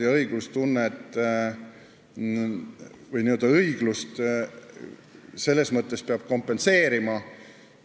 Ja õiglustunde riivamist peab kompenseerima.